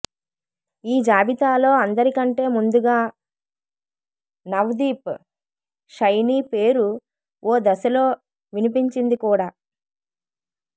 ఈ జాబితాలో అందరి కంటే ముందుగా నవ్దీప్ షైనీ పేరు ఓ దశలో వినిపించింది కూడా